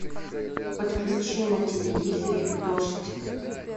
подключи на телевизоре дождь